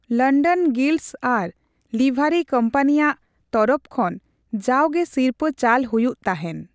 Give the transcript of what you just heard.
London guilds ᱟᱨ ᱞᱤᱵᱷᱟᱨᱤ ᱠᱚᱢᱯᱟᱱᱤᱭᱟᱜ ᱛᱚᱨᱚᱯ ᱠᱷᱚᱱ ᱡᱟᱣᱜᱮ ᱥᱤᱨᱯᱟᱹ ᱪᱟᱞ ᱦᱩᱭᱩᱜ ᱛᱟᱦᱮᱱ ᱾